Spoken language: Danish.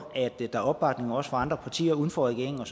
at der er opbakning også fra andre partier uden for regeringen